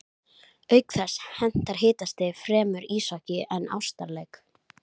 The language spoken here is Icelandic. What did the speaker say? Auk þess hentar hitastigið fremur íshokkí en ástarleik.